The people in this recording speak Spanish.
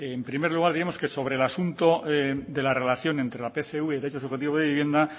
en primer lugar diremos que sobre el asunto de la relación entre la pcv y el derecho subjetivo de vivienda